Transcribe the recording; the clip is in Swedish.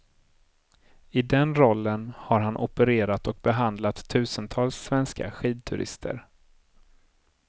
I den rollen har han opererat och behandlat tusentals svenska skidturister.